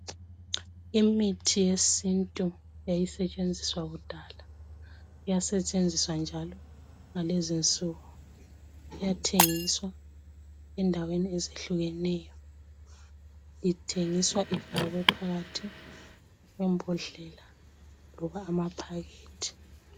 Imithi yesintu eyayisetshenziswa kudala iyasetshenziswa njalo iyathengiswa endaweni ezehlukeneyo. Ithengiswa ifakwe phakathi kwembodlela loba amaphakethi.